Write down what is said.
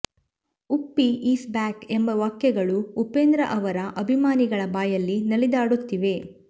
Uppi is back ಎಂಬ ವಾಕ್ಯಗಳು ಉಪೇಂದ್ರ ಅವರ ಅಭಿಮಾನಿಗಳ ಬಾಯಲ್ಲಿ ನಲಿದಾಡುತ್ತಿವೆ